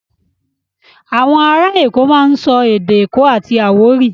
À̀wọn ará Èkó máa ń sọ èdè èkó àti àwórì.